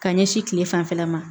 Ka ɲɛsin kile fanfɛla ma